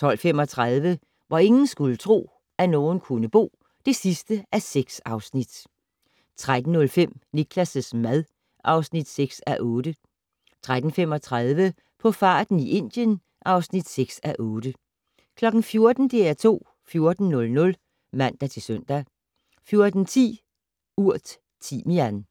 12:35: Hvor ingen skulle tro, at nogen kunne bo (6:6) 13:05: Niklas' mad (6:8) 13:35: På farten i Indien (6:8) 14:00: DR2 14:00 (man-søn) 14:10: Urt: Timian